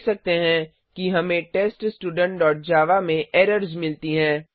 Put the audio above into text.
हम देख सकते हैं कि हमें teststudentजावा में एरर्स मिलती हैं